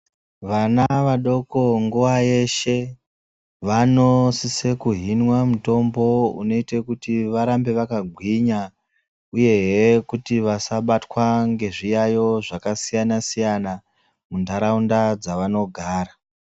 Vana vadoko nguwa yeshe vanosise kuhinwa mutombo unoita kuti varambe vakagwinya uhe kuti vasabatwe ngezviyaiyo zvakasiyana siyana munharaunda dzavanogara.